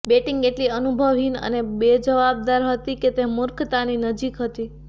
batting એટલી અનુભવહીન અને બેજવાબદાર હતી કે તે મૂર્ખતાની નજીક હતી